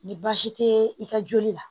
Ni baasi tɛ i ka joli la